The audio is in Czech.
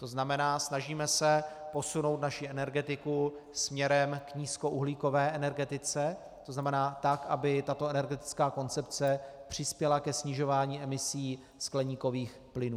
To znamená, se snažíme posunout naši energetiku směrem k nízkouhlíkové energetice, to znamená tak, aby tato energetická koncepce přispěla ke snižování emisí skleníkových plynů.